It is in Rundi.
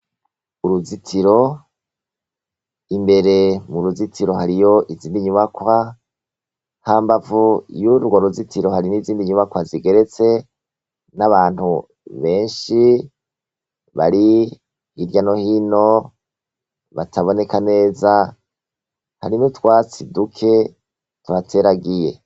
Uruzitiro imbere muruzitiro hariyo izindi nyubakwa hambavu yugo ruzitiro hariyo nizindi nyubakwa zigeretse nabantu benshi bari irya nohino bataboneka neza hari nutwatsi duke tuhateragiye